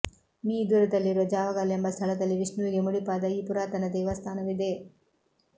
me ದೂರದಲ್ಲಿರುವ ಜಾವಗಲ್ ಎಂಬ ಸ್ಥಳದಲ್ಲಿ ವಿಷ್ಣುವಿಗೆ ಮುಡಿಪಾದ ಈ ಪುರಾತನ ದೇವಸ್ಥಾನವಿದೆ